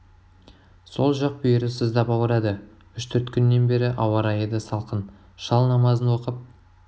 сол жақ бүйірі сыздап ауырады үш төрт күннен бері ауа райы да салқын шал намазын оқып